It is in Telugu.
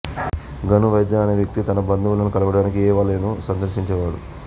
గను వైద్య అనే వ్యక్తి తన బంధువును కలవడానికి యేవాలేను సందర్శించేవాడు